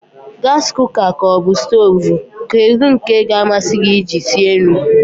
Gasi kuka ka ọbụ stoovu, kedụ nke ka amasị gị e ji sie nri?